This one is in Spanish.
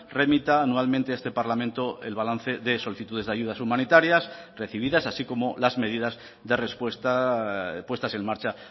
remita anualmente a este parlamento el balance de solicitudes de ayudas humanitarias recibidas así como las medidas de respuesta puestas en marcha